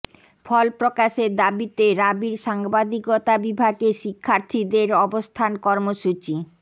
ফল প্রকাশের দাবিতে রাবির সাংবাদিকতা বিভাগের শিক্ষার্থীদের অবস্থান কর্মসূচি